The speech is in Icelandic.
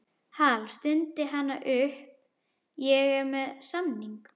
Hal, stundi hann upp, ég er með samning